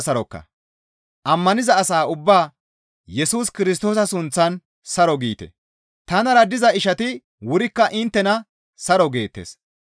Ammaniza asa ubbaa Yesus Kirstoosa sunththan saro giite; tanara diza ishati wurikka inttena saro geettes.